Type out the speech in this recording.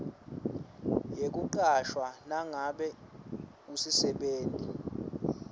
yekucashwa nangabe usisebenti